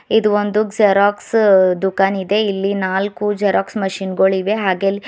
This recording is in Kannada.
ಇದು ಒಂದು ಜೆರಾಕ್ಸ್ ದುಖಾನ್ ಇದೆ ಇಲ್ಲಿ ನಾಲ್ಕು ಜೆರಾಕ್ಸ್ ಮಷೀನ್ ಗಳಿವೆ ಹಾಗೆ ಅಲ್ಲಿ--